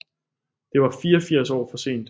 Det var 84 år for sent